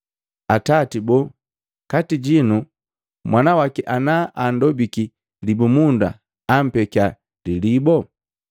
Atati boo, kati jinu mwana waki ana andobiki libumunda ampekia lilibo?